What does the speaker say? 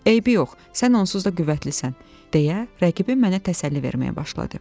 Eybi yox, sən onsuz da qüvvətlisən deyə rəqibin mənə təsəlli verməyə başladı.